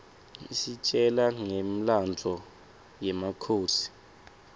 isitjela ngemlandvo yemakhosi